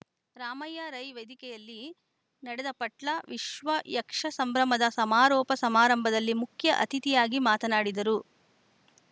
ರಾಮಯ್ಯ ರೈ ವೇದಿಕೆಯಲ್ಲಿ ನಡೆದ ಪಟ್ಲ ವಿಶ್ವ ಯಕ್ಷ ಸಂಭ್ರಮದ ಸಮಾರೋಪ ಸಮಾರಂಭದಲ್ಲಿ ಮುಖ್ಯ ಅತಿಥಿಯಾಗಿ ಮಾತನಾಡಿದರು